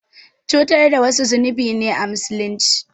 Cutar da wasu zunubi ne a Musulunci.